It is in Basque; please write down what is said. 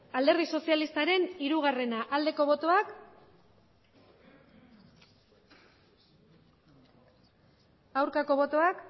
alderdi sozialistaren hiru bozkatu dezakegu emandako botoak